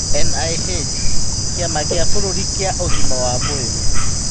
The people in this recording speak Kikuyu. NIH:kĩama kĩa bũrũri kĩa ũgima wa mwĩrĩ.